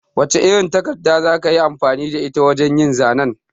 Wace irin takarda za ka yi amfani da ita wajen yin zanen?